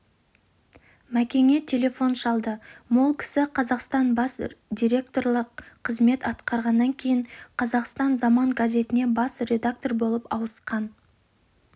мәкеңе телефон шалды мол кісі қазақстан бас директорлық қызмет атқарғаннан кейін қазақстан-заман газетіне бас редактор болып ауысқан